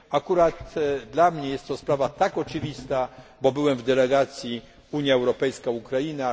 Akurat dla mnie jest to sprawa oczywista, bo byłem w delegacji Unia Europejska Ukraina.